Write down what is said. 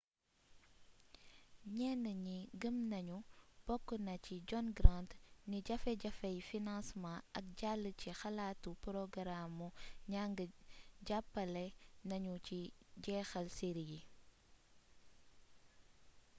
ñenn ñi gëm nañu bokk na ci john grant ni jafe-jafey financement ak jàll ci xalaatu porogaraamu njàng jàppale nañu ci jeexal série yi